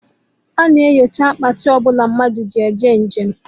A na-enyocha Akpati ọbụla mmadụ ji eje njem